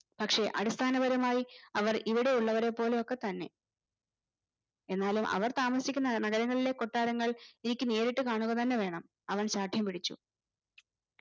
പക്ഷെ അടിസ്ഥാനപരമായി അവർ ഇവിടെയുള്ള വരെ പോലെ ഒക്കെ തന്നെ എന്നാലും അവർ താമസിക്കുന്ന നഗരങ്ങളിലെ കൊട്ടാരങ്ങൾ എനിക്ക് നേരിട്ട് കാണുക തന്നെ വേണം അവൻ ശാഠ്യം പിടിച്ചു